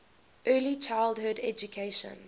early childhood education